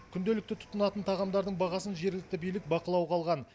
күнделікті тұтынатын тағамдардың бағасын жергілікті билік бақылауға алған